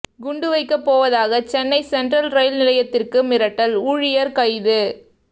குண்டுவைக்க போவதாக Chennai central rail நிலையத்திற்கு மிரட்டல் ஊழியர் கைது